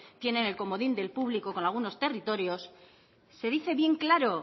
tienen el comodín del público con algunos territorios se dice bien claro